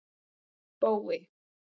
Bói